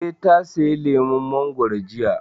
Eh, ta saya lemun mangoro jiya